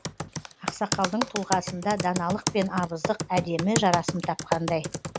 ақсақалдың тұлғасында даналық пен абыздық әдемі жарасым тапқандай